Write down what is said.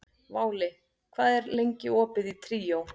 Váli, hvað er lengi opið í Tríó?